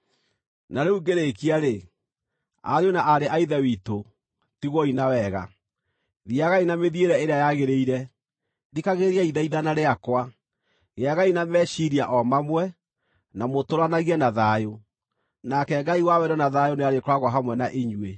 Na rĩu ngĩrĩkia-rĩ, ariũ na aarĩ a Ithe witũ, tigwoi na wega. Thiiagai na mĩthiĩre ĩrĩa yagĩrĩire, thikagĩrĩriai ithaithana rĩakwa, gĩagai na meciiria o mamwe, na mũtũũranagie na thayũ. Nake Ngai wa wendo na thayũ nĩarĩkoragwo hamwe na inyuĩ.